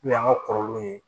N'o y'an ka kɔrɔlenw ye